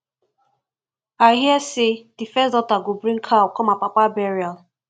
i hear say the first daughter go bring cow come her papa burial